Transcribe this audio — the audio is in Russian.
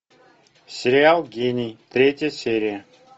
сериал гений третья серия